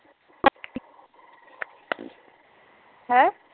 ਹੈਂ